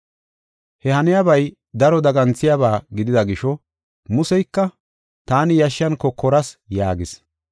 He haniyabay daro daganthiyaba gidida gisho Museyka, “Taani yashshan kokoras” yaagis.